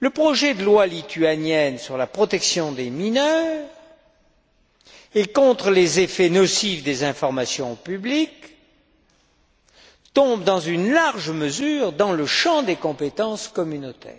Le projet de loi lituanienne sur la protection des mineurs et contre les effets nocifs des informations publiques entre, dans une large mesure, dans le champ des compétences communautaires,